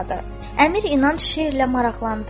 Əmir İnanc şeirlə maraqlandı.